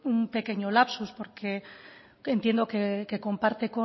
un pequeño lapsus porque entiendo que comparte